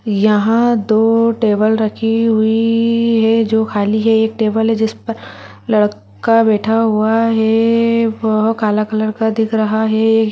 यहाँ दो टेबल रखे हुए है जो खाली है एक टेबल है जिस पर लड़का बैठा हुआ है वह काला कलर का दिख रहा है।